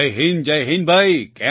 જય હિન્દ જય હિન્દ ભાઈ